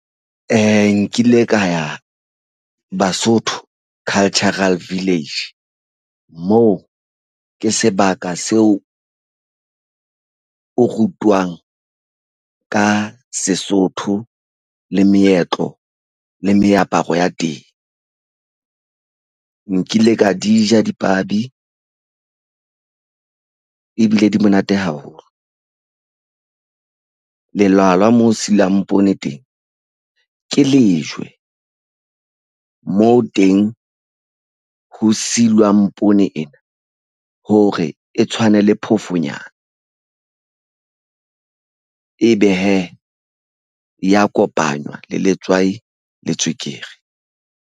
Nkile ka ya Basotho Cultural Village. Moo ke sebaka seo o rutwang ka Sesotho le meetlo le meaparo ya teng. Nkile ka di ja dipabi ebile di monate haholo. Lelwalwa moo silwang poone teng ke lejwe. Moo teng ho silwang poone ena. Hore e tshwane le phofonyana. Ebe hee e ya kopanywa le letswai le tswekere.